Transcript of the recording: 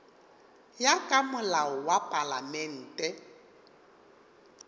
ya ka molao wa palamente